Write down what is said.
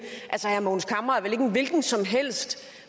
altså herre mogens camre er vel ikke en hvilken som helst